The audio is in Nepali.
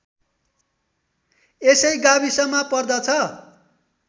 यसै गाविसमा पर्दछ